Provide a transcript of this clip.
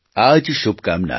આ જ શુભકામના